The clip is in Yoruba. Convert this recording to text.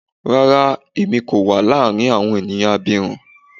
Rara, Emi ko wa laarin awọn eniyan abirun